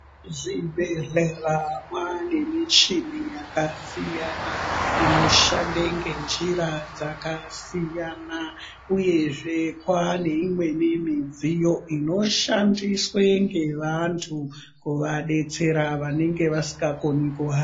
Zvibhehlera mwaane nemichina yakasiyana inoshande ngenjira dzakasiyana uyezve kwaane imweni midziyo inoshandiswa ngevanhu kuvadetsera vanenge vasingakoni kuha